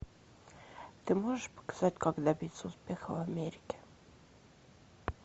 ты можешь показать как добиться успеха в америке